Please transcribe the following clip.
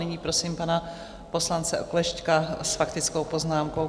Nyní prosím pana poslance Oklešťka s faktickou poznámkou.